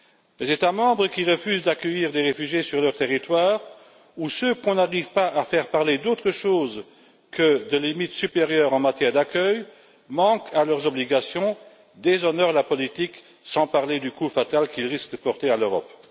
Les États membres qui refusent d'accueillir des réfugiés sur leur territoire ou ceux qui ne peuvent pas parler d'autre chose que de limite supérieure en matière d'accueil manquent à leurs obligations, déshonorent la politique, sans parler du coup fatal qu'ils risquent de porter à l'Europe.